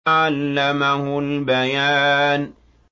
عَلَّمَهُ الْبَيَانَ